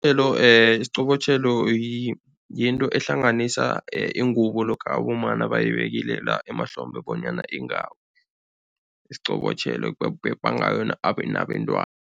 Isiqobotjhelo yinto ehlanganisa ingubo lokha abomma nabayibekile la emahlombe bonyana ingawi. Isiqobotjhelo bapepa ngayo nabentwana.